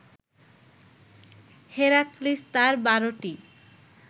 Heracles তার বারোটি